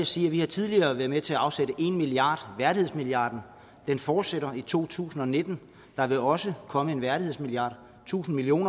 sige at vi tidligere har været med til at afsætte en milliard værdighedsmilliarden den fortsætter i to tusind og nitten der vil også komme en værdighedsmilliard tusind million